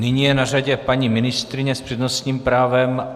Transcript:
Nyní je na řadě paní ministryně s přednostním právem.